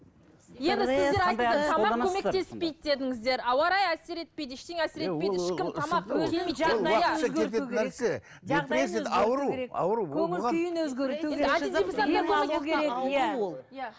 енді сіздер көмектеспейді дедіңіздер ауа райы әсер етпейді ештеңе әсер етпейді ешкім тамақ